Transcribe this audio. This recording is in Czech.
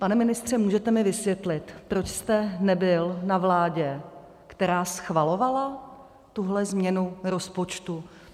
Pane ministře, můžete mi vysvětlit, proč jste nebyl na vládě, která schvalovala tuhle změnu rozpočtu?